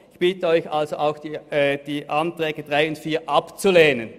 Ich bitte Sie also, auch die Anträge 3 und 4 abzulehnen.